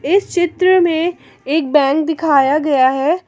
इस चित्र में एक बैंक दिखाया गया है।